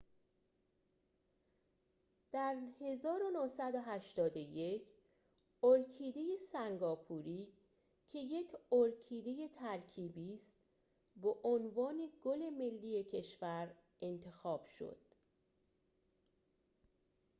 در ۱۹۸۱ ارکیده سنگاپوری که یک ارکیده ترکیبی است به عنوان گل ملی کشور انتخاب شد